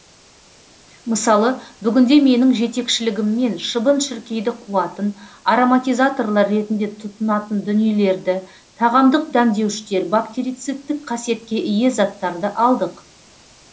мысалы бүгінде менің жетекшілігіммен шыбын шіркейді қуатын ароматизаторлар ретінде тұтынатын дүниелерді тағамдық дәмдеуіштер бактерицидтік қасиетке ие заттарды алдық